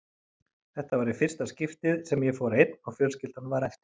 Þetta var í fyrsta skiptið sem ég fór einn og fjölskyldan var eftir.